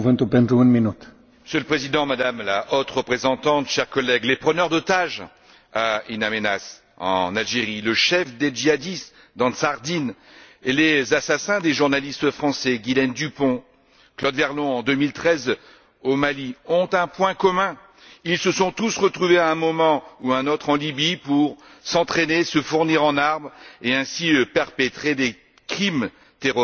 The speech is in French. Monsieur le Président, Madame la Haute représentante, chers collègues, les preneurs d'otages à In Aménas en Algérie, le chef des djihadistes d'Ansar Dine et les assassins des journalistes français Ghislaine Dupont et Claude Verlon, en 2013 au Mali, ont un point commun ils se sont tous retrouvés à un moment ou à un autre en Libye pour s'entraîner, se fournir en armes et ainsi perpétrer des crimes terroristes atroces.